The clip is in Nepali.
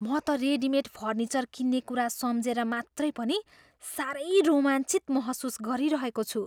म त रेडिमेड फर्निचर किन्ने कुरा सम्झेर मात्रै पनि साह्रै रोमाञ्चित महसुस गरिरहेको छु।